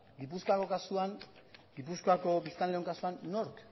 gipuzkoako kasuan gipuzkoako biztanleon kasuan nork